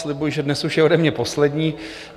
Slibuji, že dnes už je ode mě poslední.